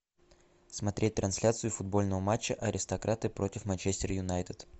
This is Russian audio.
смотреть трансляцию футбольного матча аристократы против манчестер юнайтед